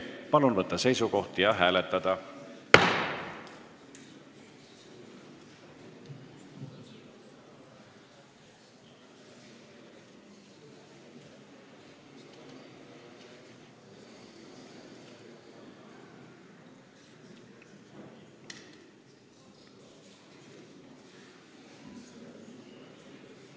Palun võtta seisukoht ja hääletada!